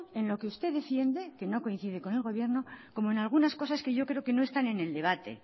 en lo que usted defiende que no coincide con el gobierno como en algunas cosas que yo creo que no están en el debate